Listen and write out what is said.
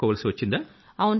ఎదుర్కోవాల్సొచ్చిందా